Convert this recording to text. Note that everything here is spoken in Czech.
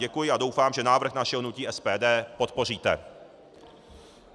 Děkuji a doufám, že návrh našeho hnutí SPD podpoříte.